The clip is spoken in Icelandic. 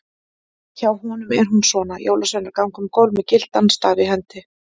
Hjá honum er hún svona: Jólasveinar ganga um gólf með gyltan staf í hendi.